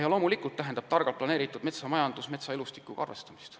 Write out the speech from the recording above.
Ja loomulikult tähendab targalt planeeritud metsamajandus metsaelustikuga arvestamist.